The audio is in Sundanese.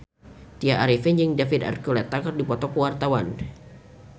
Tya Arifin jeung David Archuletta keur dipoto ku wartawan